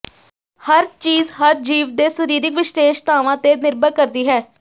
ਹਰ ਚੀਜ਼ ਹਰ ਜੀਵ ਦੇ ਸਰੀਰਿਕ ਵਿਸ਼ੇਸ਼ਤਾਵਾਂ ਤੇ ਨਿਰਭਰ ਕਰਦੀ ਹੈ